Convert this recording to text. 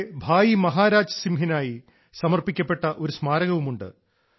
അവിടെ ഭായി മഹാരാജ് സിംഹിനായി സമർപ്പിക്കപ്പെട്ട ഒരു സ്മാരകവുമുണ്ട്